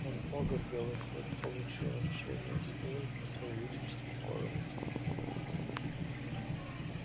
от бога белый клык получил общение с ним покровительство корм и тепло